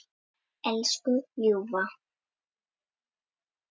Elsku ljúfa.